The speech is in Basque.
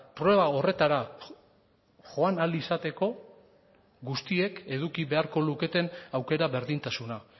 proba horretara joan ahal izateko guztiek eduki beharko luketen aukera berdintasuna